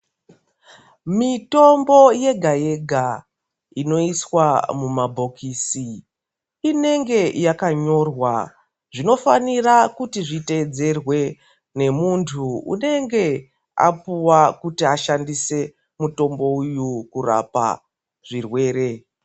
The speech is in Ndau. Mitombo yega yega inoiswa mumabhokisi ineenge yakanyorwa zvinofanira kuti zviteedzerwe nemuntu uneenge apuwa kuti ashandise mutombo uyu kurapa zvirwere.